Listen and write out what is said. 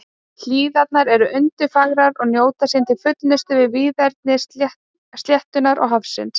Hlíðarnar eru undurfagrar og njóta sín til fullnustu við víðerni sléttunnar og hafsins.